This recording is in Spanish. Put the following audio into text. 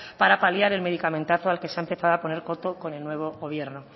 para paliar el medicamentazo al que se ha empezado a poner coto con el nuevo gobierno